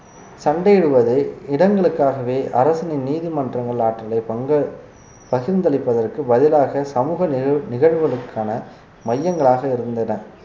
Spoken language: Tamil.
சண்டையிடுவதை இடங்களுக்காகவே அரசனின் நீதிமன்றங்கள் ஆற்றலைப் பங்கு~ பகிர்ந்தளிப்பதற்கு பதிலாக சமூக நிகழ்~ நிகழ்வுகளுக்கான மையங்களாக இருந்தன